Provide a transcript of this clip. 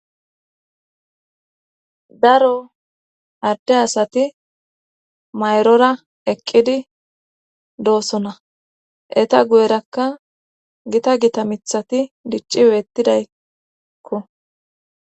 Adde asati mayrora eqqidi doosona eta guyerakka gita gita mithati dicci weettidaykko.